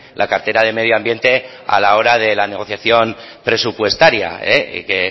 la cartera de medio ambiente a la hora de la negociación presupuestaria y que